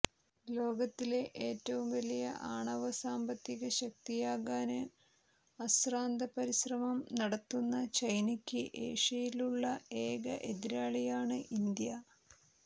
ലോകത്തിലെ ഏറ്റവും വലിയ ആണവ സാമ്പത്തികശക്തിയാകാന് അശ്രാന്തപരിശ്രമം നടത്തുന്ന ചൈനക്ക് ഏഷ്യയിലുള്ള ഏക എതിരാളിയാണ് ഇന്ത്യ